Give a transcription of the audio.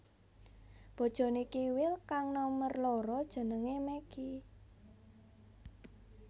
Bojoné Kiwil kang nomer loro jenengé Meggi